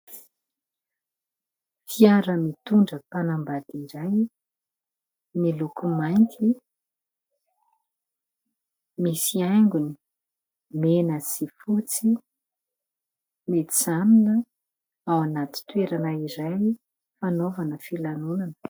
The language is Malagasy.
Fiara mitondra mpanambady iray, miloko mainty, misy haingony mena sy fotsy : mijanona ao anaty toerana iray fanaovana filanonana.